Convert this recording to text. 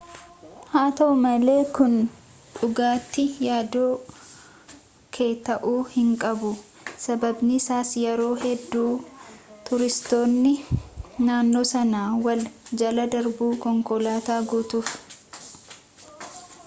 haa ta'u malee kun dhugaatti yaaddoo kee ta'uu hin qabu sabaabiinsaas yeroo hedduu tuuristoonni naannoo sana wal jala darbu konkolaataa guutuuf